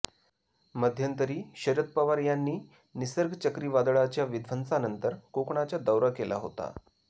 मध्यंतरी शरद पवार यांनी निसर्ग चक्रीवादळाच्या विध्वंसानंतर कोकणाचा दौरा केला होता